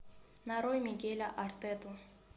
нарой мигеля артета